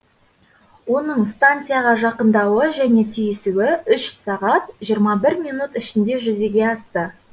оның стансияға жақындауы және түйісуі үш сағат жиырма бір минут ішінде жүзеге асты